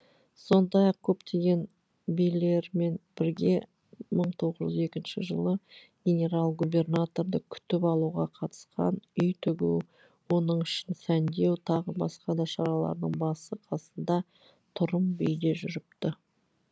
сондай ақ көптеген билермен бірге мың тоғыз жүз екінші жылы генерал губернаторды күтіп алуға қатысқан үй тігу оның ішін сәндеу тағы басқа да шаралардың басы қасында тұрым би де жүріпті